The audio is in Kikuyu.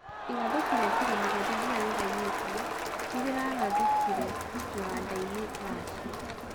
Irathũki ria kiro mugwaja riria riraiyetwo nirirarathũkire kiwandaini Russia.